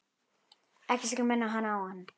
Ekkert skal minna hana á hann.